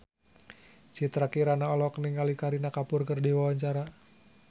Citra Kirana olohok ningali Kareena Kapoor keur diwawancara